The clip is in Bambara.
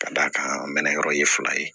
Ka d'a kan an mɛ na yɔrɔ ye fila ye